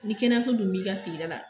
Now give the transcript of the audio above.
Ni kɛnɛyaso dun b'i ka sigida la